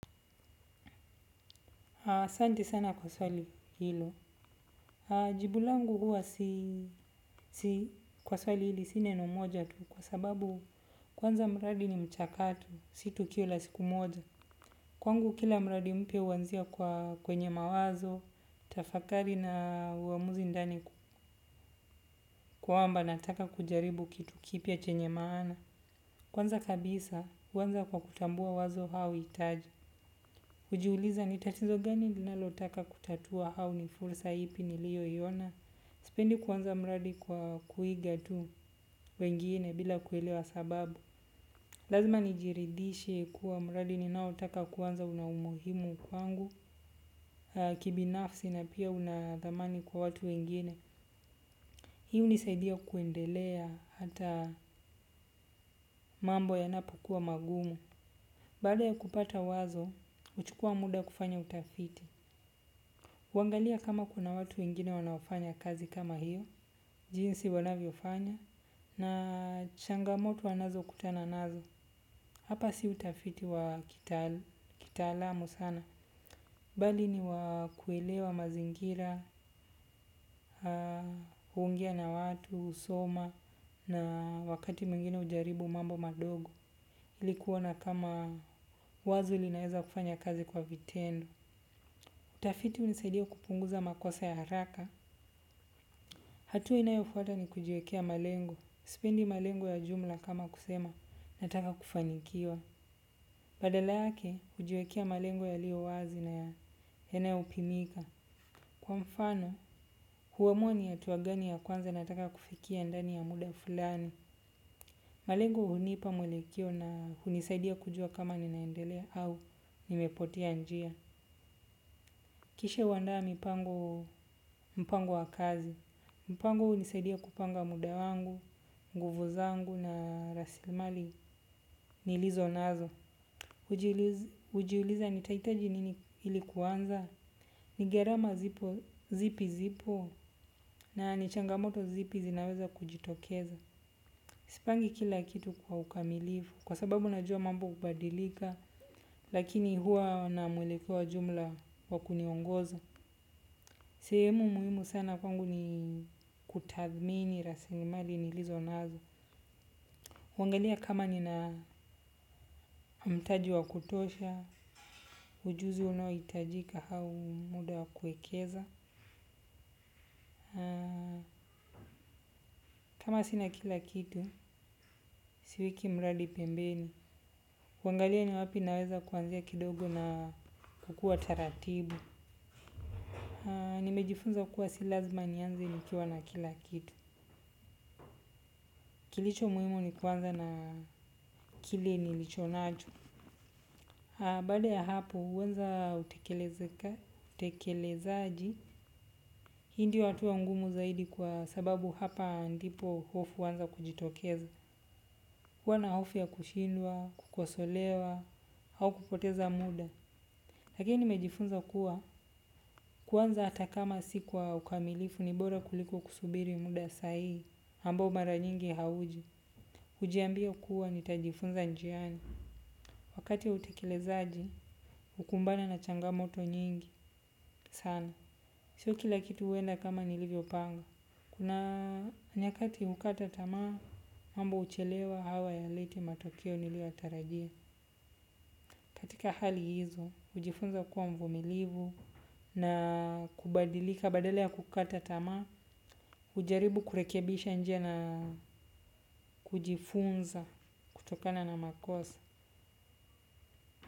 Asanti sana kwa swali hilo. Jibu langu huwa si kwa swali hili si neno moja tu kwa sababu kwanza mradi ni mchakato, si tukio la siku moja. Kwangu kila mradi mpya huanzia kwenye mawazo, tafakari na uamuzi ndani kwamba nataka kujaribu kitu kipya chenye maana. Kwanza kabisa, huanza kwa kutambua wazo au hitaji. Hujiuliza ni tatizo gani ninalotaka kutatua au ni fursa ipi niliyoiona. Sipendi kuanza mradi kwa kuiga tu wengine bila kuelewa sababu. Lazima nijiridhishe kuwa mradi ninaotaka kuanza una umuhimu kwangu, kibinafsi na pia unadhamani kwa watu wengine. Hii hunisaidia kuendelea hata mambo yanapokuwa magumu baada ya kupata wazo huchukua muda kufanya utafiti. Huangalia kama kuna watu wengine wanaofanya kazi kama hiyo, jinsi wanavyofanya, na changamoto wanazokutana nazo. Hapa si utafiti wa kitaalamu sana. Bali ni wa kuelewa mazingira, huongea na watu, husoma na wakati mwingine hujaribu mambo madogo. Ilikuwa na kama wazo linaeza kufanya kazi kwa vitendo. Utafitu hunisaidia kupunguza makosa ya haraka. Hatua inayofuata ni kujiekea malengo. Sipendi malengo ya jumla kama kusema nataka kufanikiwa. Badala yake hujiekea malengo yaliyowazi na yanayopimika. Kwa mfano, huamua ni ya hatua gani ya kwanza nataka kufikia ndani ya muda fulani. Malengo hunipa mwelekeo na hunisaidia kujua kama ninaendelea au nimepotea njia. Kisha huandaa mpango wa kazi. Mpango hunisaidia kupanga muda wangu, nguvu zangu na rasilimali nilizonazo. Hujiuliza nitahitaji nini ili kuanza. Ni gharama zipi zipo na ni changamoto zipi zinaweza kujitokeza. Sipangi kila kitu kwa ukamilifu. Kwa sababu najua mambo hubadilika. Lakini huwa na mwelekeo wa jumla wa kuniongoza. Sehemu muhimu sana kwangu ni kutathmini rasilimali nilizonazo. Huangalia kama nina mtaji wa kutosha, ujuzi unaohitajika au muda wa kuekeza. Kama sina kila kitu, siweki mradi pembeni. Huangalia ni wapi naweza kuanzia kidogo na kukua taratibu. Nimejifunza kuwa si lazima nianze nikiwa na kila kitu. Kilicho muhimu ni kuanza na kile nilichonacho. Baada ya hapo, huanza utekelezaji, hii ndio hatua ngumu zaidi kwa sababu hapa ndipo hofu huanza kujitokeza. Kuwa na hofu ya kushindwa, kukosolewa, au kupoteza muda. Lakini nimejifunza kuwa, kuanza hata kama si kwa ukamilifu ni bora kuliko kusubiri muda sahihi, ambao mara nyingi hauji. Hujiambia kuwa nitajifunza njiani. Wakati wa utekelezaji, hukumbana na changamoto nyingi sana. Sio kila kitu huenda kama nilivyopanga. Kuna nyakati hukata tamaa, mambo huchelewa au hayaleti matokeo niliyoyatarajia. Katika hali hizo, hujifunza kuwa mvumilivu na kubadilika badala ya kukata tamaa hujaribu kurekebisha njia na kujifunza kutokana na makosa.